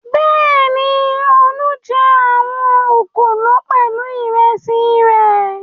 Bẹ́ẹ̀ni, Olú jẹ àwọn òkòló náà pẹ̀lú ìrẹsì rẹ̀.